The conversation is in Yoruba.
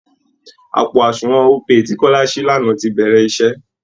Àpò àsunwọ̀n Opay tí kọ́lá ṣí lánàá ti bẹ̀rẹ̀ iṣẹ́